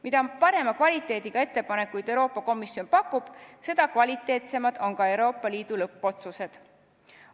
Mida parema kvaliteediga ettepanekuid Euroopa Komisjon pakub, seda kvaliteetsemad on ka Euroopa Liidu lõppotsused.